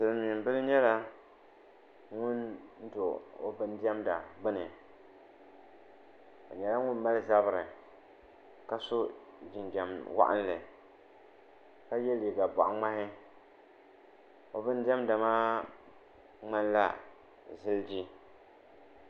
silmiin bili nyɛla ŋun do o bin diɛmda gbuni o nyɛla ŋun mali zabiri ka so jinjɛm waɣanli ka yɛ liiga boɣa ŋmahi o bin diɛmda maa ŋmanila ziliji